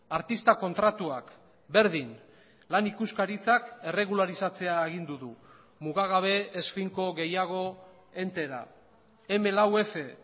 artista kontratuak berdin lan ikuskaritzak erregularizatzea agindu du mugagabe ez finko gehiago entera eme lau efe